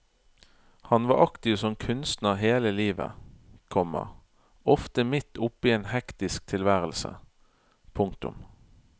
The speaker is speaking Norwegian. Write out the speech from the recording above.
Han var aktiv som kunstner hele livet, komma ofte midt oppe i en hektisk tilværelse. punktum